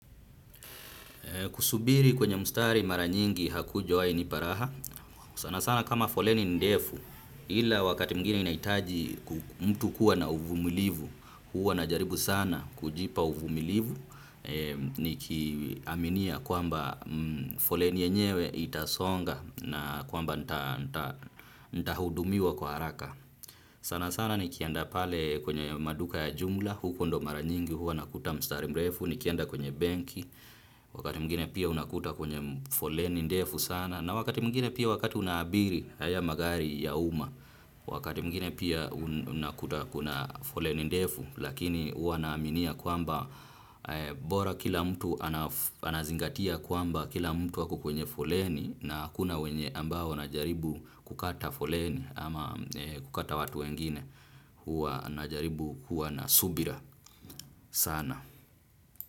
Kusubiri kwenye mstari mara nyingi hakujawahi nipa raha, sana sana kama foleni ni ndefu ila wakati mwigine inahitaji mtu kuwa na uvumilivu, huwa najaribu sana kujipa uvumilivu, nikiaminia kwamba foleni yenyewe itasonga na kwamba nitahudumiwa kwa haraka. Sana sana ni kienda pale kwenye maduka ya jumla, huko ndio mara nyingi, huwa nakuta mstari mrefu, nikienda kwenye benki, wakati mwingin pia unakuta kwenye foleni ndefu sana, na wakati mwigine pia wakati unaabiri haya magari ya umma, wakati mwingine pia unakuta kuna foleni ndefu, lakini huwa naaminia kwamba bora kila mtu anazingatia kwamba kila mtu ako kwenye foleni na hakuna wenye ambao wanajaribu kukata foleni ama kukata watu wengine huwa najaribu kuwa na subira sana.